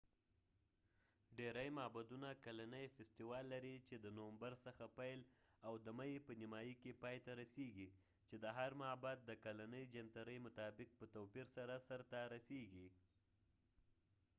ډیری معبدونه کلنی فیستوال لري چې د نومبر څخه پيل او د مۍ په نیمایی کی پای ته رسیږي چې د هر معبد د کلنۍ جنترۍ مطابق په توپیر سره سر ته رسیږی